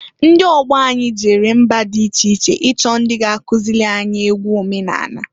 Ndị ọgbọ anyị jere mba di iche iche ichọ ndị ga- akụzịlị anyị egwu omenanị.